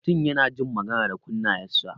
Mutum yana jin magana da kunnayan sa.